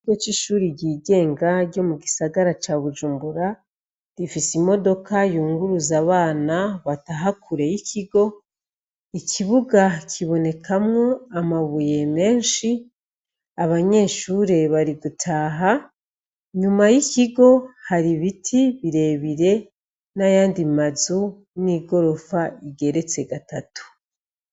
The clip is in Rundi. Ikigo c'ishure ryigenga ryo mugisagara ca Bujumbura, gifise imodoka yunguruza abana bataha kure y'ikigo, ikibuga kibonekamwo amabuye menshi, abanyeshure bari gutaha, nyuma y'ikigo hari ibiti birebire n'ayandi mazu n'igorofa igeretse gatatu.